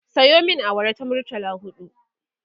Sayo min awara ta murtala huɗu